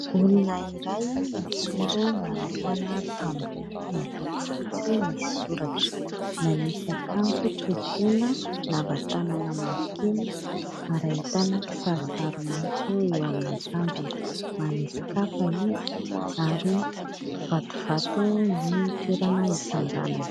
Olona iray mijoro manoloana tamboho miloko fotsy misy soratra. Manisy akanjo tohitena lava tanana mavokely ary ahitana kisarisary maitso eo amin'ny akanjony. Manisy kapa izy ary vatovato ny toerana itsanganany.